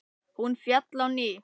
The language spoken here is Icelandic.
Hún féll á ný.